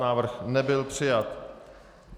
Návrh nebyl přijat.